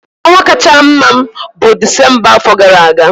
Ọnwa kacha mma m bụ Disemba afọ gara aga.